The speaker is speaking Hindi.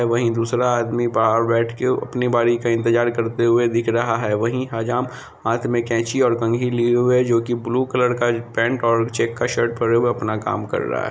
वहीं दूसरा आदमी बाहर बैठ के अपनी बारी का इंतजार करते हुए दिख रहा है वहीं हजाम हाथ में कैंची और कंघी लिए हुए है जो की ब्लू कलर का पैंट और चेक का शर्ट पेहने हुए अपना काम कर रहा है।